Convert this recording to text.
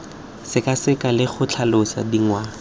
sekaseka le go tlhalosa ditlhangwa